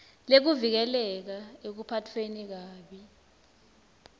lekuvikeleka ekuphatfweni kabi